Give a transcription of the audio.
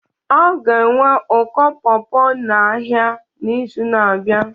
A ga-enwe ụkọ pawpaw n'ahịa n'izu na-abịa